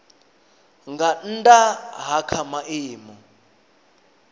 nga nnda ha kha maimo